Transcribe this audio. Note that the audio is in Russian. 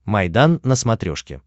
майдан на смотрешке